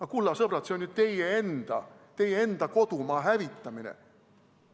Aga, kulla sõbrad, see on ju teie enda kodumaa hävitamine.